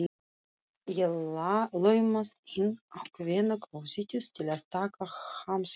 Ég laumast inn á kvennaklósettið til að taka hamskiptum.